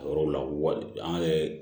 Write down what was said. A yɔrɔw la wa an yɛrɛ